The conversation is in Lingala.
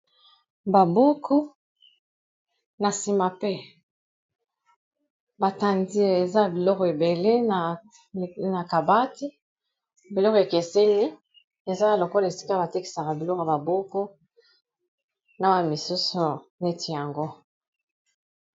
B Babuku na nsima pe batandi eza biluro ebele na kabati biluro ekeseni ezana lokola esika batekisaka bilure ya babuku na wa misusu neti yango